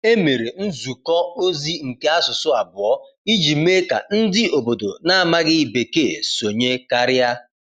E mere nzukọ ozi nke asụsụ abụọ iji mee ka ndị obodo na-amaghị Bekee sonye karịa.